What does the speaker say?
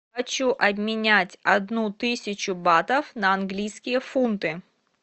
хочу обменять одну тысячу батов на английские фунты